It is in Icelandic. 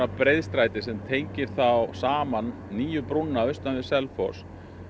breiðstræti sem tengir þá saman nýju brúna austan við Selfoss